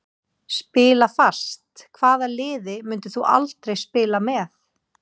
Spila fast Hvaða liði myndir þú aldrei spila með?